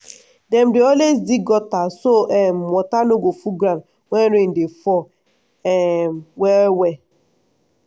dem dey always dig gutter so um water no go full ground when rain dey fall um well well.